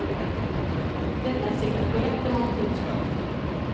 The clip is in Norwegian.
Dette er sikkert korrekt i mange tilfeller.